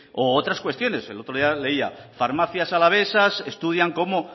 u otras cuestiones el otro día leía farmacias alavesas estudian cómo